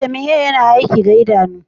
Vitamin A yana aiki ga idanu.